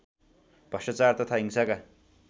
भ्रष्टाचार तथा हिंसाका